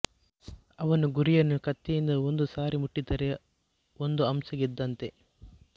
ಅವನು ಗುರಿಯನ್ನು ಕತ್ತಿಯಿಂದ ಒಂದು ಸಾರಿ ಮುಟ್ಟಿದರೆ ಒಂದು ಅಂಶ ಗೆದ್ದಂತೆ